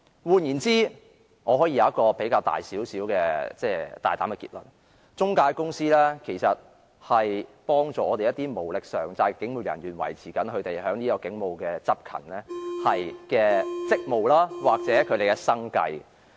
換言之，我可以作出一個較大膽的結論，也就是中介公司其實是幫助了一些無力償債的警務人員維持其警務執勤的職務或生計。